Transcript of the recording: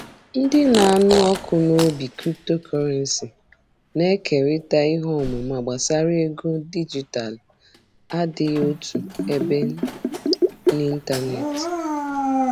Ndị na-anụ ọkụ n'obi Cryptocurrency na-ekerịta ihe ọmụma gbasara ego dijitalụ adịghị otu ebe n'ịntanetị.